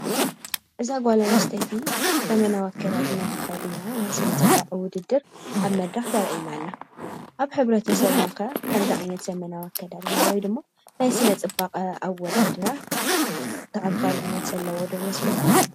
እዛ ጓል ኣንስተይቲ ዘበናዊ ኣከዳድና ተከዲና ናይ ስነ ፅባቀ ውድድር ኣብ መድረኽ ተርእየና ኣላ:: ኣብ ሕብረተሰብና ከ ከምዚ ዓይነት ዘበናዊ ኣከዳድና ወይ ድማ ናይ ስነ ፅባቀ ኣወዳድራ ተቀባልነት ዘለዎ ዶ ይመስለኩም?